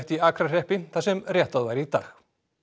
í Akrahreppi þar sem réttað var í dag